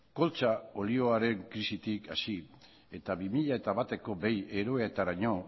koltza olioaren krisitik hasi eta bi mila bateko behi eroetaraino